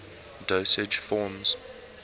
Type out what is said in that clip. dosage forms